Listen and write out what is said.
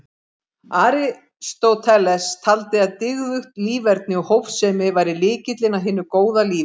Aristóteles taldi að dygðugt líferni og hófsemi væri lykillinn að hinu góða lífi.